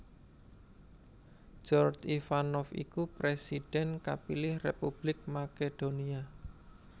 Gjorge Ivanov iku présidhèn kapilih Republik Makedonia